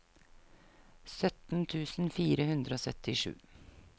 sytten tusen fire hundre og syttisju